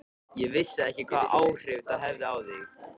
Ég vissi ekki hvaða áhrif það hefði á þig.